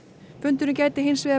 fundurinn gæti